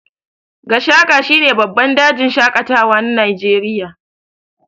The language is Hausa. Gashaka shine babban dajin shaƙatawa na Najeriya.